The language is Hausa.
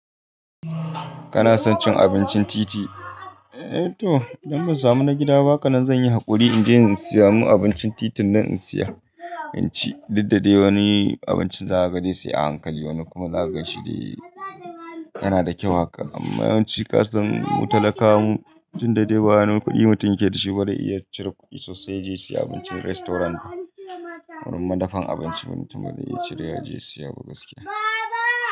Kana son cin abincin titi? Eh to, idan ban samu na gida ba, haka nan zan yi haƙuri in je in saya. In abincin titin nan in saya, inci. Duk dadai wani abincin za ka gani sai a hankali, wani kuma za ka gan shi dai yana da kyau haka. Amma yawanci kasan mu talakawa mu, duk da dai ba wani kuɗi mutum yake da shi ba dai iya cire kuɗi sosai ya je ya siya abincin restaurant ba. Wurin madafan abinci mutum ba zai iya cire kudi ya je siya ba gaskiya.